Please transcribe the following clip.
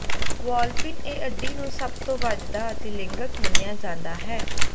ਵਾਲਪਿਨ ਇਹ ਅੱਡੀ ਨੂੰ ਸਭ ਤੋਂ ਵੱਜਦਾ ਅਤੇ ਲਿੰਗਕ ਮੰਨਿਆ ਜਾਂਦਾ ਹੈ